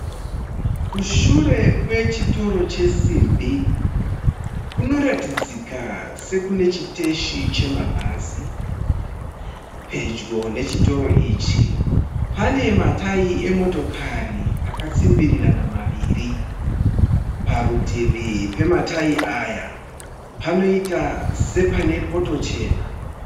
Kushure kwechitoro chesimbi kunoratidza kuti kune chiteshi chemabhazi. Pedyo nechitoro ichi pane matayi emotokari akatsimbirirana maviri. Parutivi pematayi aya panoita sepane poto chena.